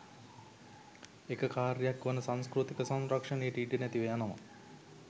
එක කාර්යයක් වන සංස්කෘතික සංරක්ෂණයට ඉඩ නැතිව යනවා.